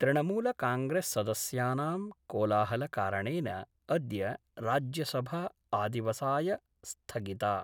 तृणमूल कांग्रेस्सदस्यानां कोलाहलकारणेन अद्य राज्यसभा आदिवसाय स्थगिता।